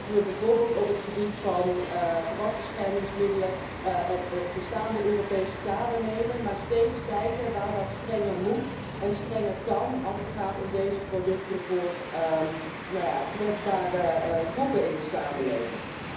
Laten we bijvoorbeeld op het gebied van gewasbeschermingsmiddelen het bestaande Europese kader nemen, maar steeds kijken waar dat strenger moet en strenger kan als het gaat om deze producten voor kwetsbare groepen in de samenleving.